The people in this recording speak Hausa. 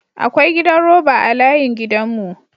Akwa gidan roba a layin gidan mu.